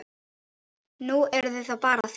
Nú, eruð það bara þið